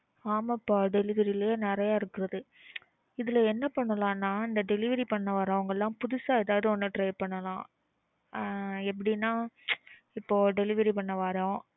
ஆமாப்பா delivery லயே நறைய இருக்குது. இதுல என்ன பண்ணலாம்ன்னா delivery பண்றவங்கலாம் புதுசா எதாவது ஒன்னு try பண்ணலாம் ஆஹ் எப்படின்னா delivery பண்ண வர்றோம்